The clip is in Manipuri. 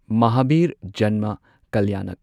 ꯃꯍꯥꯚꯤꯔ ꯖꯟꯃ ꯀꯜꯌꯥꯅꯛ